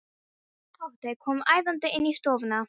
Tóti kom æðandi inn í stofuna.